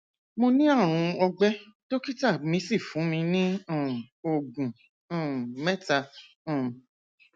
mo ní àrùn ọgbẹ dókítà mi sì fún mi ní um oògùn um mẹta um